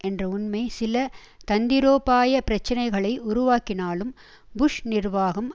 என்ற உண்மை சில தந்திரோபாய பிரச்சனைகளை உருவாக்கினாலும் புஷ் நிர்வாகம்